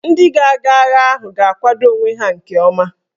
Ndị ga-aga agha ahụ ga-akwado onwe ha nke ọma